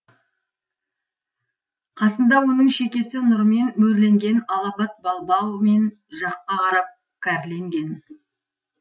қасында оның шекесі нұрмен мөрленген алапат балбал мен жаққа қарап кәрленген